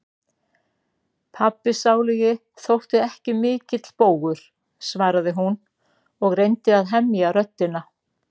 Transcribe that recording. Pabbi sálugi þótti ekki mikill bógur, svaraði hún og reyndi að hemja röddina.